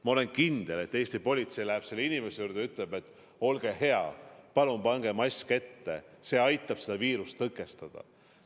" Ma olen kindel, et Eesti politsei läheb maskita inimese juurde ja ütleb, et olge hea, palun pange mask ette, see aitab viirust tõkestada.